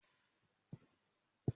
Mo wọ ẹ̀kú mo sì nímọ̀lára ìgbéraga àṣà.